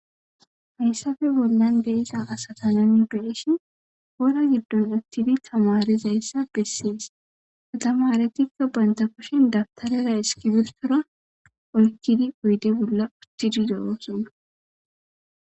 Hayssafe bollan be iza asatana migreeshen hoora giddon aktidi tamarizayssa bessees katama aretikka banta koshen dabtarera eskibirtora olkidi uyde bolla uttididooosona.